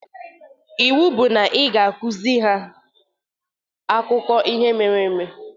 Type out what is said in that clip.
Iwu bụ na ị ga-akuzi ha Akụkọ ihe mere eme!